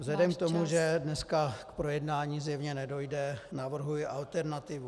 Vzhledem k tomu, že dneska k projednání zjevně nedojde, navrhuji alternativu.